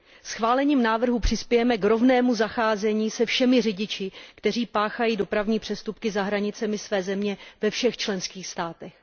Schválením návrhu přispějeme k rovnému zacházení se všemi řidiči, kteří páchají dopravní přestupky za hranicemi své země ve všech členských státech.